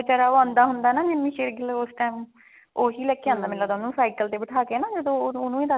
ਜਦੋਂ ਉਹ ਆਉਂਦਾ ਹੁੰਦਾ ਜਿੰਮੀ ਸ਼ੇਰਗਿੱਲ ਉਹੀ ਲੈਕੇ ਹੁੰਦਾ ਉਹ cycle ਤੇ ਬੈਠਾ ਕੇ ਹਨਾ ਜਦੋਂ ਉਹਨੂੰ